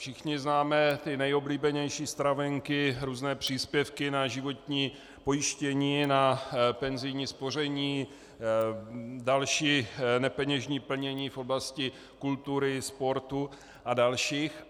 Všichni známe ty nejoblíbenější stravenky, různé příspěvky na životní pojištění, na penzijní spoření, další nepeněžní plnění v oblasti kultury, sportu a dalších.